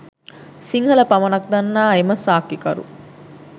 සිංහල පමණක් දන්නා එම සාක්කිකරු